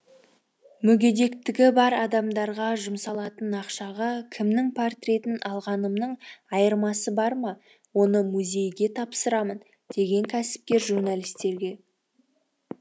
мүгедектігі бар адамдарға жұмсалатын ақшаға кімнің портретін алғанымның айырмасы бар ма оны музейге тапсырамын деген кәсіпкер журналистерге